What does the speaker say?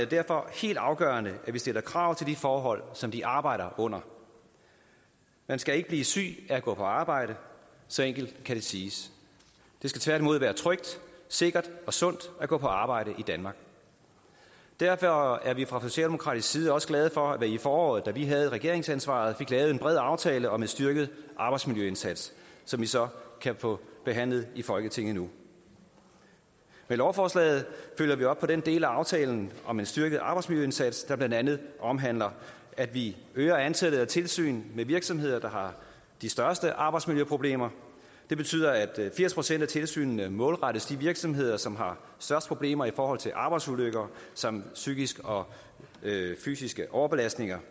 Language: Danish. derfor helt afgørende at vi stiller krav til de forhold som de arbejder under man skal ikke blive syg af at gå på arbejde så enkelt kan det siges det skal tværtimod være trygt sikkert og sundt at gå på arbejde i danmark derfor er vi fra socialdemokratisk side også glade for at der i foråret da vi havde regeringsansvaret blev lavet en bred aftale om en styrket arbejdsmiljøindsats som vi så kan få behandlet i folketinget nu med lovforslaget følger vi op på den del af aftalen om en styrket arbejdsmiljøindsats der blandt andet omhandler at vi øger antallet af tilsyn med virksomheder der har de største arbejdsmiljøproblemer det betyder at firs procent af tilsynene målrettes de virksomheder som har størst problemer i forhold til arbejdsulykker samt psykiske og fysiske overbelastninger